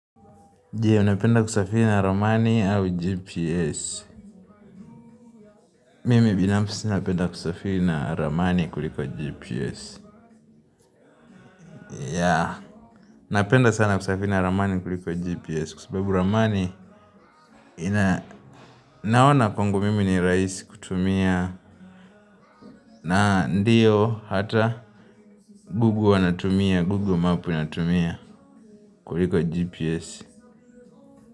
Je, unapenda kusafiri na ramani au GPS Mimi binafsi napenda kusafiri na ramani kuliko GPS ya, napenda sana kusafiri na ramani kuliko GPS Kwa sababu ramani, naona kwangu mimi ni raisi kutumia na ndiyo, hata, gugu wanatumia, gugu mapu anatumia kuliko GPS.